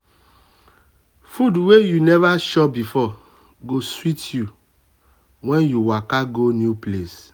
food wey you um never chop before go sweet you um when you um waka go new place.